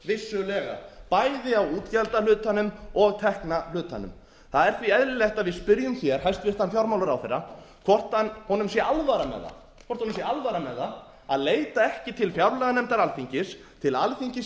þörf vissulega bæði á útgjaldahlutanum og tekjuhlutanum það er því eðlilegt að við spyrjum hæstvirtur fjármálaráðherra hvort honum sé alvara með það að leita ekki til fjárlaganefndar alþingis til alþingis